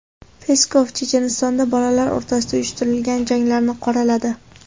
Peskov Chechenistonda bolalar o‘rtasida uyushtirilgan janglarni qoraladi.